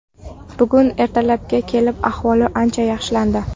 Bugun ertalabga kelib ahvoli ancha yaxshilandi.